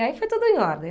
Aí foi tudo em ordem.